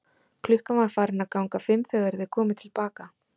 Klukkan var farin að ganga fimm þegar þeir komu til baka.